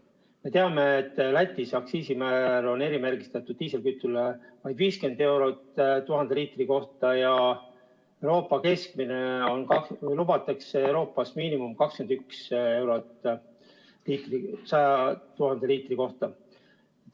Me teame, et Lätis on aktsiisimäär erimärgistatud diislikütusel vaid 50 eurot 1000 liitri kohta ja Euroopa Liidus lubatakse miinimumina aktsiisi 21 eurot 1000 liitri kohta.